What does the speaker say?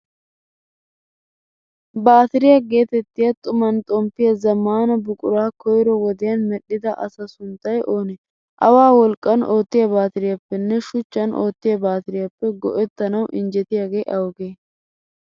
Baatiriyaa geetettiya xuman xomppiyo zammaana buquraa koyro wodiyan medhdhida asa sunttay oonee? Awaa wolqqan oottiya baatiriyaappenne shuchchan oottiya baatiriyaappe go'ettanawu injjetiyagee awugee?